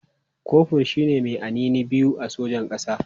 Kofur shi ne mai anini biyu a sojan ƙasa.